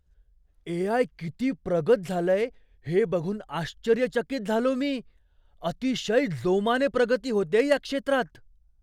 ए. I. किती प्रगत झालंय हे बघून आश्चर्यचकित झालो मी. अतिशय जोमाने प्रगती होतेय या क्षेत्रात.